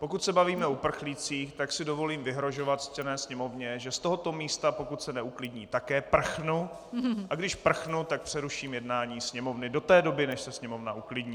Pokud se bavíme o uprchlících, tak si dovolím vyhrožovat ctěné sněmovně, že z tohoto místa, pokud se neuklidní, také prchnu, a když prchnu, tak přeruším jednání sněmovny do té doby, než se sněmovna uklidní.